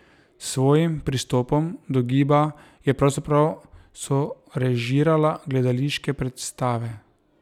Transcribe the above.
S svojim pristopom do giba je pravzaprav sorežirala gledališke predstave.